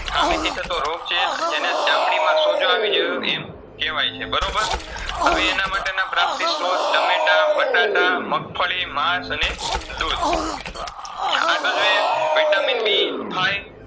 ખામીથી થતો રોગ છે જેને ચામળીમાં સોજો આવીજયો એમ કેવાયછે. બરોબર હવે એનામાટેના પ્રાપ્તિસ્ત્રોત ટામેટા, બટાટા, મગફળી, માસ અને દુદ. છે Vitamin B થાય